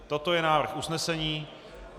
Toto je návrh usnesení.